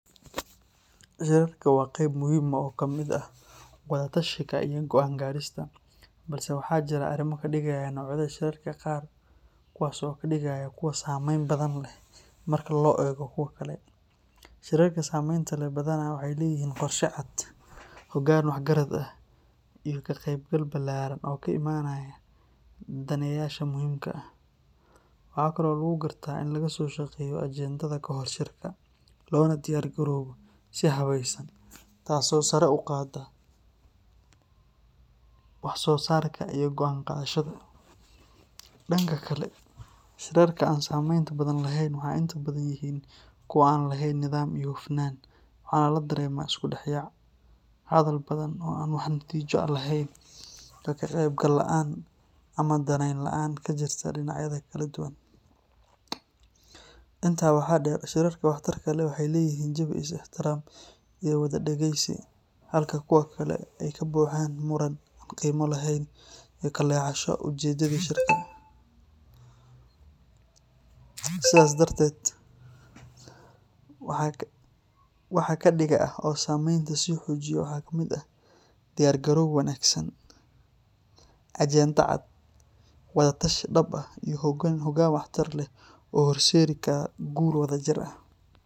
Shirarku waa qayb muhiim ah oo ka mid ah wada tashiga iyo go’aan gaadhista, balse waxaa jira arrimo kadigaya noocyada shirarka qaar, kuwaasoo ka dhiga kuwo saameyn badan leh marka loo eego kuwa kale. Shirarka saameynta leh badanaa waxay leeyihiin qorshe cad, hoggaan waxgarad ah, iyo ka qaybgal ballaaran oo ka imanaya daneeyayaasha muhiimka ah. Waxa kale oo lagu gartaa in laga soo shaqeeyo ajendaha kahor shirka, loona diyaargaroobo si habaysan, taas oo sare u qaadda wax soo saarka iyo go’aan qaadashada. Dhanka kale, shirarka aan saameynta badan lahayn waxay inta badan yihiin kuwo aan lahayn nidaam iyo hufnaan, waxaana la dareemaa isku dhexyaac, hadal badan oo aan wax natiijo ah lahayn, iyo ka qaybgal la’aan ama danayn la’aan ka jirta dhinacyada kala duwan. Intaa waxaa dheer, shirarka waxtarka leh waxay leeyihiin jawi is ixtiraam iyo wada dhageysi, halka kuwa kale ay ka buuxaan muran aan qiimo lahayn iyo ka leexasho ujeeddadii shirka. Sidaas darteed, waxa kadiga ah oo saameynta sii xoojiya waxaa ka mid ah diyaar garow wanaagsan, ajende cad, wada tashi dhab ah, iyo hoggaan waxtar leh oo horseedi kara guul wadajir ah.